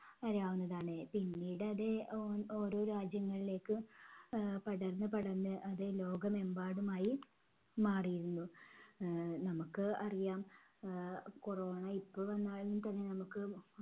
അറിയാവുന്നതാണ്. പിന്നീട് അത് ഓ~ഓരോ രാജ്യങ്ങളിലേക്ക് ആഹ് പടർന്ന് പടർന്ന് അത് ലോകമെമ്പാടുമായി മാറിയിരുന്നു. ആഹ് നമുക്ക് അറിയാം ആഹ് corona ഇപ്പൊ വന്നാലും തന്നെ നമ്മുക്ക്